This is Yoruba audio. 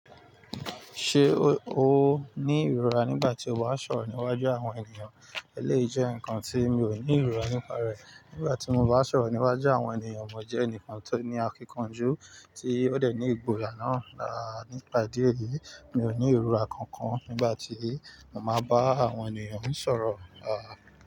Ṣé o ní ìrora nígbà tí o bá sọ̀rọ̀ níwájú àwọn ènìyàn? Eléyìí jẹ́ nǹkan tí mi ò ní ìrora nípa rẹ̀. Nígbà tí mo bá sọ̀rọ̀ níwájú àwọn ènìyàn, mo jẹ́ ẹni kan tó ní akíkanjú, tí ó dẹ̀ ní ìgboyà náà. Rárá, nípa ìdí èyí, mi ò ní ìrora kankan nígbà tí mo máa bá àwọn ènìyàn ń sọ̀rọ̀. Rárá.